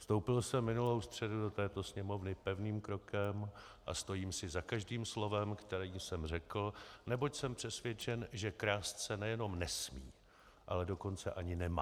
Vstoupil jsem minulou středu do této sněmovny pevným krokem a stojím si za každým slovem, které jsem řekl, neboť jsem přesvědčen, že krást se nejenom nesmí, ale dokonce ani nemá.